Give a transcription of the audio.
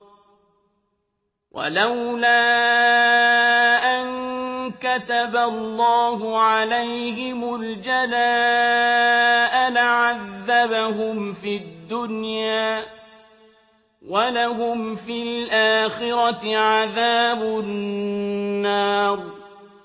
وَلَوْلَا أَن كَتَبَ اللَّهُ عَلَيْهِمُ الْجَلَاءَ لَعَذَّبَهُمْ فِي الدُّنْيَا ۖ وَلَهُمْ فِي الْآخِرَةِ عَذَابُ النَّارِ